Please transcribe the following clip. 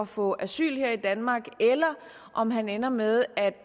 få asyl her i danmark eller om han ender med at